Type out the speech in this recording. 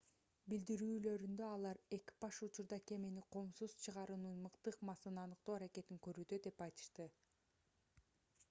билдирүүлөрүндө алар экипаж учурда кемени коопсуз чыгаруунун мыкты ыкмасын аныктоо аракетин көрүүдө деп айтышты